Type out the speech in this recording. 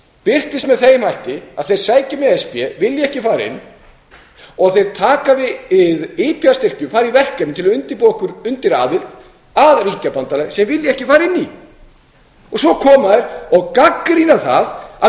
birtist með þeim hætti að þeir sækja um í e s b vilja ekki fara inn og þeir taka við ipa styrkjum fara í verkefni til að undirbúa okkur undir aðild að ríkjabandalagi sem þeir vilja ekki fara inn í svo koma þeir og gagnrýna það að